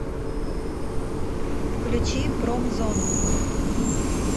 включи промзону